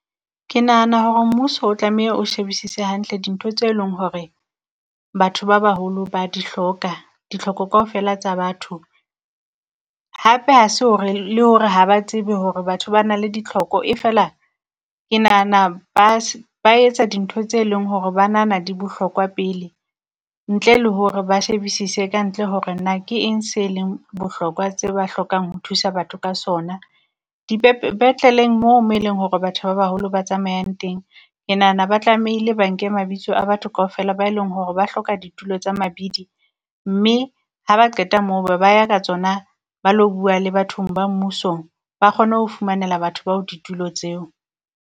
Ke nahana hore mmuso o tlameha o shebisise hantle dintho tse leng hore batho ba baholo ba di hloka. Ditlhoko kaofela tsa batho hape ha se hore le hore ha ba tsebe hore batho ba na le ditlhoko e fela ke nahana ba ba etsa dintho tse leng hore ba nahana di bohlokwa pele ntle le hore ba shebisise kantle, hore na ke eng se leng bohlokwa tse ba hlokang ho thusa batho ka sona. Di dipetleleng mo eleng hore batho ba baholo ba tsamayang teng, ke nahana ba tlamehile ba nke mabitso a batho kaofela ba e leng hore ba hloka ditulo tsa mabidi, mme ha ba qeta mo be ba ya ka tsona ba lo bua le batho ba mmusong ba kgono fumanela batho bao ditulo tseo.